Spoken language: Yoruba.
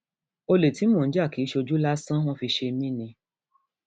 olè tí mò ń jà kì í ṣojú lásán wọn fi ṣe mí ni